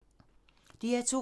DR2